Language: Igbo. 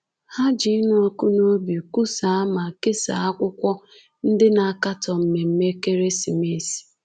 Ha ji ịnụ ọkụ n’obi kwusaa ma kesaa akwụkwọ ndị na-akatọ mmemme ekeresimesi.